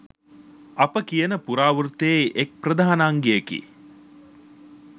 අප කියන පුරාවෘත්තයේ එක් ප්‍රධාන අංගයකි